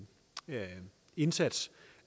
indsats